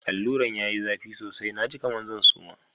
Alura'n ya yi zafi sosai, na ji kaman zan suma.